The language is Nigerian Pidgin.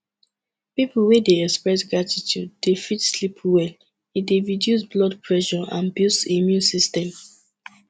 pipo wey de express gratitude de fit sleep well e de reduce blood pressure and boost immune system